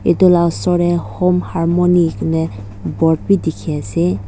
tu la osor tey home harmony ene board bi dikhi ase.